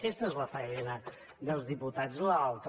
aquesta és la faena dels diputats i allò altre